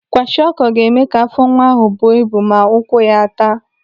Kwashiọkọ ga-eme ka afọ nwa ahụ buo ibu ma ụkwụ ya a taa.